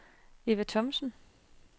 Eva Thomsen